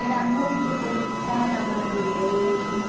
Era muito voltada para mim mesma.